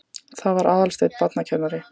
Það var Aðalsteinn barnakennari.